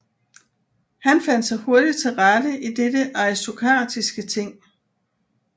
Han fandt sig hurtigt til rette i dette aristokratiske ting